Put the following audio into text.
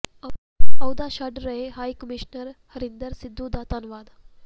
ਅਹੁਦਾ ਛੱਡ ਰਹੇ ਹਾਈ ਕਮਿਸ਼ਨਰ ਹਰਿੰਦਰ ਸਿੱਧੂ ਦਾ ਧੰਨਵਾਦ